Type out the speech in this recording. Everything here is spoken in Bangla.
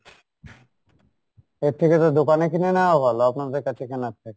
এর থেকে তো দোকানে কিনে নেওয়া ভালো আপনাদের কাছে কেনার থেকে।